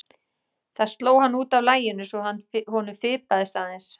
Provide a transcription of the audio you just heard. Það sló hann út af laginu svo að honum fipaðist aðeins.